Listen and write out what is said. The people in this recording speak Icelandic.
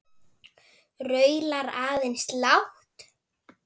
Raular aðeins lágt.